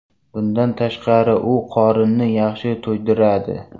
Bundan tashqari u qorinni yaxshi to‘ydiradi.